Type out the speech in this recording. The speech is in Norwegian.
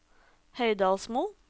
Høydalsmo